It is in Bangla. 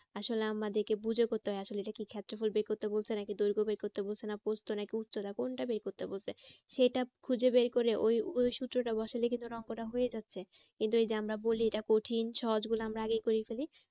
আসলে আমাদেরকে বুঝে করতে হয় আসলে এটা কি ক্ষেত্রফল বের করতে বলছে নাকি দৈঘ্য বের করতে বলছে না পোস্ত নাকি উচ্চতা কোনটা বের করতে বলছে? সেটা খুঁজে বের করে ওই ওই সূত্রটা বসালে কিন্তু অঙ্কটা হয়ে যাচ্ছে। কিন্তু ওই যে আমরা বলি এটা কঠিন সহজ গুলো আমরা আগে করে ফেলি।